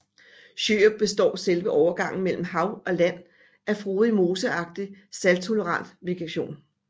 Sjørup består selve overgangen mellem hav og land af frodig moseagtig salttolerant vegetation